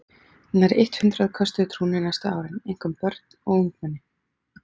Nærri eitt hundrað köstuðu trúnni næstu árin, einkum börn og ungmenni.